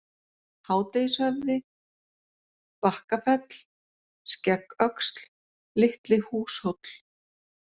Hádegishöfði, Bakkafell, Skeggöxl, Litli-Húshóll